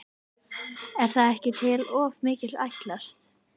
Er það ekki til of mikils ætlast?